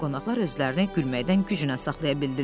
Qonaqlar özlərini gülməkdən güclə saxlaya bildilər.